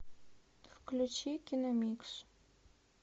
включи киномикс